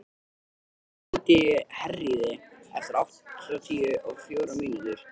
Ylur, hringdu í Herríði eftir áttatíu og fjórar mínútur.